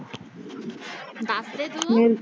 ਦਸਦੇ ਤੂੰ?